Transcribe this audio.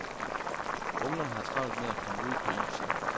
Ungerne har travlt med at komme ud på isen.